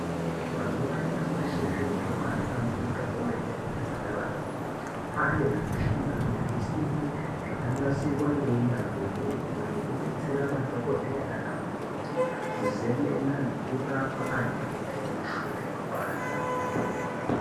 Mazuwa anyamashi zviro zvabahlamburuka kwemene muzvipatara umwo ane michina nezvisimbi zvakanasirwa ngeunyanzvi ukurutu zvekudetsera madhokodheya nanamukoti kuzemena nekurapa antu anenge aine mishuna inopanda.